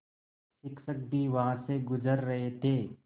शिक्षक भी वहाँ से गुज़र रहे थे